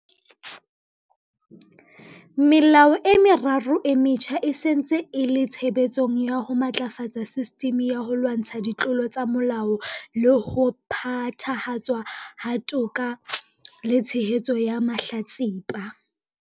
Melao e meraro e metjha e se e ntse e le tshebetsong ya ho matlafatsa sistimi ya ho lwantsha ditlolo tsa molao le ho phethahatswa ha toka le tshehetso ya mahlatsipa.